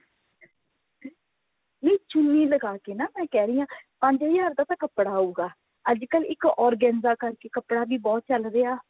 ਇਹ ਚੁੰਨੀ ਲਗਾਕੇ ਨਾ ਮੈਂ ਕਹਿ ਰਹੀ ਹਾਂ ਪੰਜ ਹਜ਼ਾਰ ਦਾ ਤਾਂ ਕੱਪੜਾ ਆਉਗਾ ਅੱਜਕਲ ਇੱਕ organza ਕਰਕੇ ਕੱਪੜਾ ਵੀ ਬਹੁਤ ਚੱਲ ਰਿਹਾ